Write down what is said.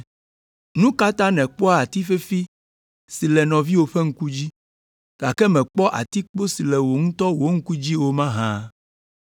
“Nu ka ta nèkpɔa ati fefi si le nɔviwò ƒe ŋku dzi, gake mèkpɔa atikpo si le wò ŋutɔ wò ŋku dzi o mahã?